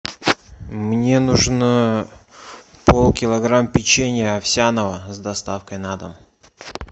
мне нужно пол килограмма печенья овсяного с доставкой на дом